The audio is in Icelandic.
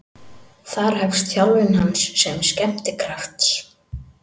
Þar hefst þjálfun hans sem skemmtikrafts.